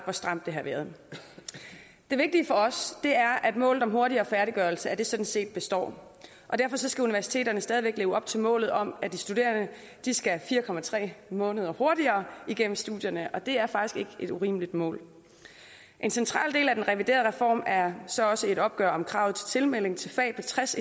hvor stramt det har været det vigtige for os er at målet om hurtigere færdiggørelse sådan set består og derfor skal universiteterne stadig væk leve op til målet om at de studerende skal fire måneder hurtigere igennem studierne det er faktisk ikke et urimeligt mål en central del af den reviderede reform er så også et opgør med kravet om tilmelding til fag på tres